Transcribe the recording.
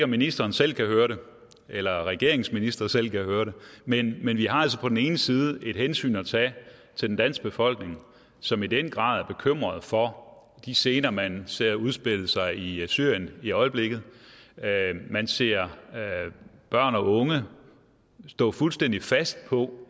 ministeren selv kan høre det eller om regeringens ministre selv kan høre det men men vi har altså på den ene side et hensyn at tage til den danske befolkning som i den grad er bekymret for de scener man ser udspille sig i syrien i øjeblikket man ser børn og unge stå fuldstændig fast på